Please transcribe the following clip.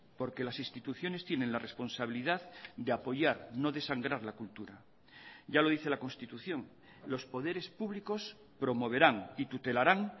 porque las instituciones tienen la responsabilidad de apoyar no de sangrar la cultura ya lo dice la constitución los poderes públicos promoverán y tutelarán